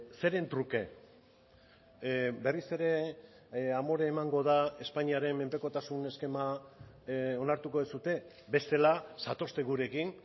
zeren truke berriz ere amore emango da espainiaren menpekotasun eskema onartuko duzue bestela zatozte gurekin